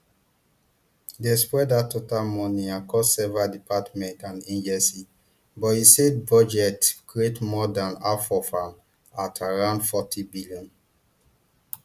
dem spread dat total money across several departments and agencies but usaid budget create more dan half of am at around fortybn